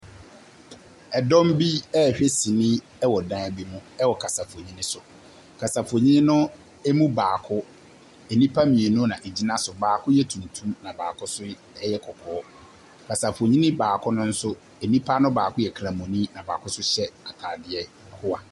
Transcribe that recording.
Dɔm bi rehwɛ sene wɔ dan bi mu wɔ kasafoni so. Kasafoni no mu baako, nipa mmienu na egyina so. Baako yɛ tuntum na baako nso yɛ kɔkɔɔ. Kasafoni baako no nso nipa no baako yɛ kramoni na baako so hyɛ ataadeɛ hoa.